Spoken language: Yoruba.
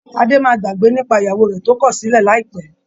Adé máa gbàgbé nípa ìyàwó rẹ̀ tó kọ̀sílẹ̀ láìpẹ́